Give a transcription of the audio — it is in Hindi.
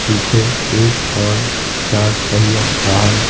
पीछे एक और चार पहिया वाहन--